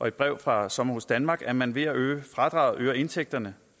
et brev fra sommerhus danmark at man ved at øge fradraget øger indtægterne